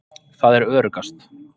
Það er öruggast.